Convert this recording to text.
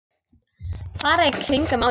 Fara í kringum málið?